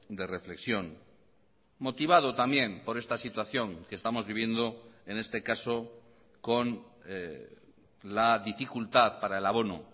de reflexión motivado también por esta situación que estamos viviendo en este caso con la dificultad para el abono